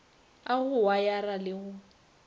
a go wayara le go